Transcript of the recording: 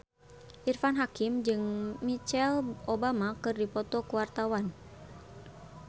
Irfan Hakim jeung Michelle Obama keur dipoto ku wartawan